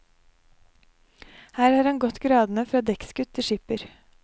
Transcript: Her har han gått gradene fra dekksgutt til skipper.